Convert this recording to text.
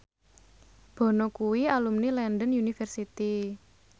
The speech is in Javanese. Bono kuwi alumni London University